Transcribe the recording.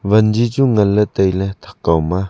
wanzi chu ngan ley tai ley thak kaw ma.